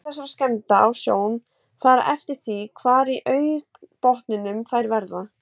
Áhrif þessara skemmda á sjón fara eftir því hvar í augnbotnunum þær verða.